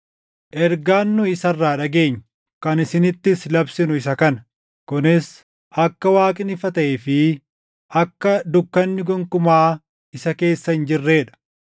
Ergaan nu isa irraa dhageenye, kan isinittis labsinu isa kana: Kunis akka Waaqni ifa taʼee fi akka dukkanni gonkumaa isa keessa hin jirree dha.